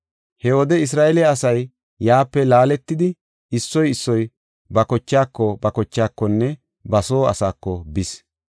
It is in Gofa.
He wode Isra7eele asay yaape laaletidi, issoy issoy ba kochaako, ba kochaakonne ba soo asaako bis.